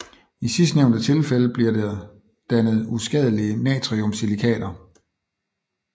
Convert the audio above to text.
I sidstnævnte tilfælde bliver der dannet uskadelige natriumsilikater